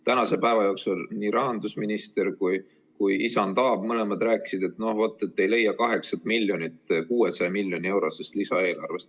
Täna nii rahandusminister kui ka isand Aab mõlemad rääkisid, et no vaat, ei leia selleks 8 miljonit 600 miljoni euro suurusest lisaeelarvest.